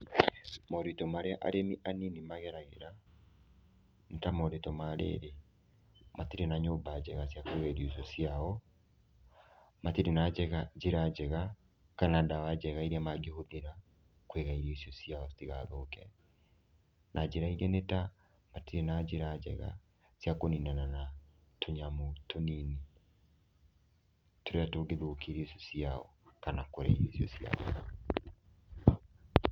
Moritũ marĩa arĩmi anini mageragĩra, nĩ ta moritũ ma rĩrĩ, matirĩ na nyũmba njega cia kuiga irio icio ciao, matirĩ na njĩra njega kana ndawa njega iria mangĩhũthĩra kũiga irio icio ciao citigathũke, na njĩra ingĩ nĩ ta matirĩ na njĩra njega cia kũninana na tũnyamũ tũnini tũrĩa tũngĩthũkia irio icio ciao kana kũrĩa irio icio ciao.